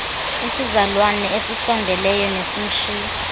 isizalwane esisondeleyo nesimshiya